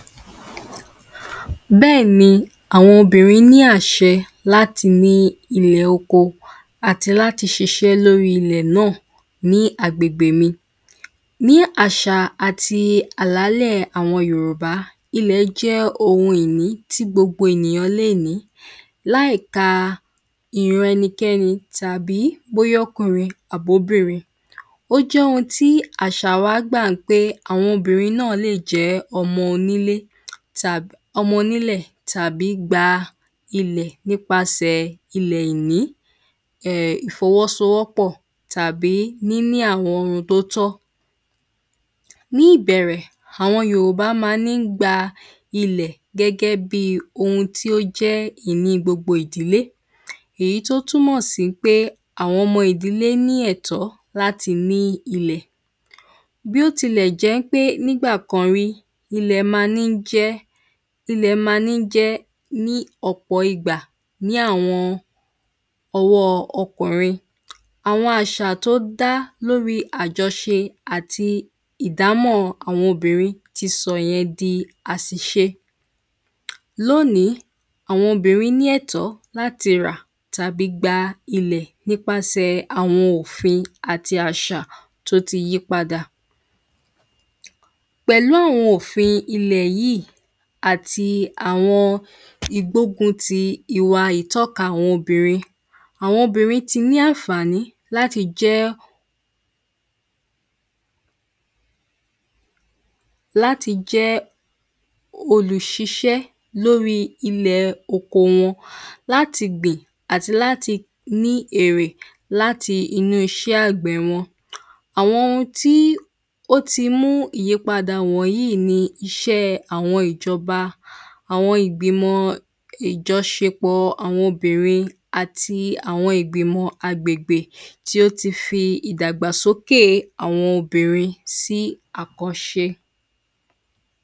Bẹ́ẹ̀ni àwọn obìnrín ní àṣẹ láti ní ilẹ̀ oko àti láti ṣiṣẹ́ lórí ilẹ̀ náà ní agbègbè mi. Ní àṣà àti àlàlẹ́ àwọn yorùbá Ilẹ̀ jẹ́ ohun ìní tí gbogbo ènìyàn lè ní láì ka ìran ẹnikẹ́ni bóyá ó jọ́kùrin àbóbìnrin ó jóhun tí àṣà wa gbà pé àwọn obìnrin náà le jẹ́ ọmọ onílé tàbí ọmọ onílẹ̀ tàbí gba ilẹ̀ nípasẹ̀ ilẹ̀ ìní um ìfọwọ́sọwọ́pọ̀ tàbí níní àwọn ohun tó tọ́. Ní ìbẹ̀rẹ̀ àwọn yorùbá má ní gba ilẹ̀ gẹ́gẹ́ bí ohun tí ó jẹ́ ìní gbogbo ìdílé èyí tó túnmọ̀ sí pé àwọn ọmọ ìdílé ní ẹ̀tọ́ láti ní ilẹ̀ Bí ó tilẹ̀ jẹ́ pé nígbà kan rí ilẹ̀ má ní jẹ́ ilẹ̀ má ní jẹ́ ní ọ̀pọ̀ ìgbà ní àwọn ọwọ́ ọkùnrin. Àwọn àṣà tó dá lórí àjọṣe àti ìdámọ̀ àwọn obìnrin ti sọ̀ yẹn di àṣìṣe. Lónìí àwọn obìnrin lẹ́tọ̀ọ́ láti rà tàbí gba ilẹ̀ nípasẹ̀ àwọn òfin àti àṣà tó ti yí padà. Pẹ̀lú àwọn òfin ilẹ̀ yìí àti àwọn ìgbógun ti ìwà ìtọ́ka àwọn obìnrin àwọn obìnrin ti ní ànfàní láti jẹ́ láti jẹ́ olùṣiṣẹ́ lórí ilẹ̀ oko wọn láti gbìn àti láti ní èrè nínú iṣẹ́ àgbẹ̀ wọn. Àwọn ohun tí ó ti mú ìyípadà wọ̀nyí ni àwọn iṣẹ́ ìjọba àwọn ìgbìmọ̀ ìjọṣepọ̀ àwọn obìnrin àti àwọn ìgbìmọ̀ agbègbè tí ó ti fi ìdàgbàsókè àwọn obìnrin sí àkọ́ṣe.